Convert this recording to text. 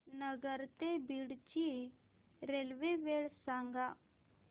नगर ते बीड ची रेल्वे वेळ सांगा